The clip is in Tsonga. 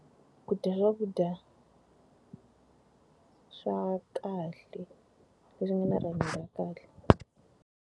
Ku dya swakudya ka swa kahle, leswi nga na rihanyo ra kahle.